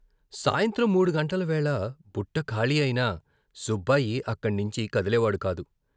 సాయంత్రం మూడుగంటల వేళ బుట్ట ఖాళీ అయినా సుబ్బాయి అక్కణ్ణించి కదిలేవాడు కాదు.